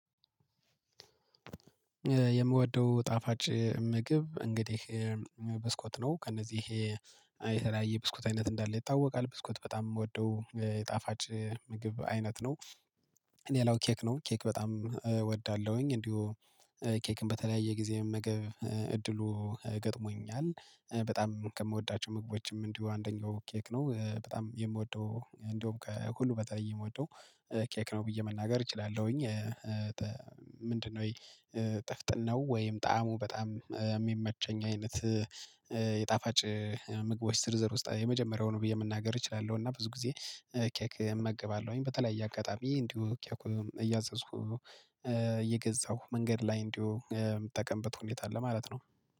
የምወደው ጣፋጭ ምግብ እንግዲህ በስኮት ነው ከእነዚህ ይሄ አይ የተለያየ ብስኩት አይነት እንዳለ ይታወቃል ብስኩት በጣም የምወደው ጣፋጭ ምግብ አይነት ነው። እኔ ሌላው ኬክ ነው ኬክ በጣም እወዳለሁኝ እንዲሁ ኬክን በተለያየ ጊዜ መመገብ እድሉ ገጥሞኛል በጣም ከምወዳቸው ምግቦችም እንዲሁ አንደኛው ኬክ ነው በጣም የምወደው እንደውም ከሁሉ በተለይ የምወደው ኬክ ነው ብዬ መናገር እችላለሁኝ። ምንድነው ይ ጥፍጥናው ነው ወይም ጣዕሙ በጣም የሚመቸኝ አይነት የጣፋጭ ምግቦች ዝርዝር ውስጥ የመጀመሪያውን ብዬ መናገር እችላለሁ። እና ብዙ ጊዜ ኬክ እመገባለሁኝ በተለያየ አጋጣሚ እንዲሁ እያዘዝኩ እየገዛሁ መንገድ ላይ እንዲሁ የምትጠቀምበት ሁኔታ አለ ማለት ነው